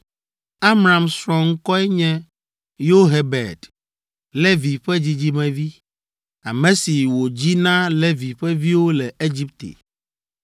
Amram srɔ̃ ŋkɔe nye Yohebed, Levi ƒe dzidzimevi, ame si wòdzi na Levi ƒe viwo le Egipte.